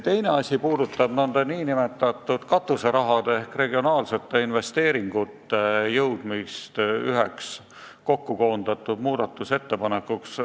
Teine märkus puudutab nn katuserahade ehk regionaalsete investeeringute koondamist rahanduskomisjonis üheks muudatusettepanekuks.